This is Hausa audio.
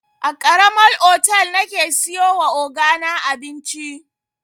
A karama otal nake siyowa ogana abinci.